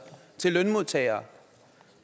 til lønmodtagere